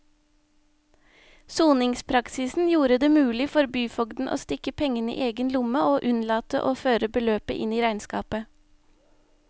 Soningspraksisen gjorde det mulig for byfogden å stikke pengene i egen lomme og unnlate å føre beløpet inn i regnskapet.